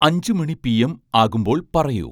അഞ്ചു മണി പിഎം ആകുമ്പോൾ പറയൂ